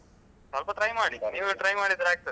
ಸ್ವಲ್ಪ try ಮಾಡಿ ನೀವು try ಮಾಡಿದ್ರೆ ಆಗ್ತದೆ.